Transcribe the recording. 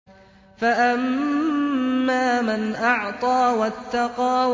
فَأَمَّا مَنْ أَعْطَىٰ وَاتَّقَىٰ